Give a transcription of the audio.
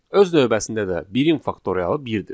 Öz növbəsində də 1-in faktorialı 1-dir.